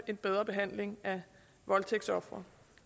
en bedre behandling af voldtægtsofre